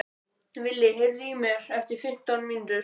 Vili, heyrðu í mér eftir fimmtán mínútur.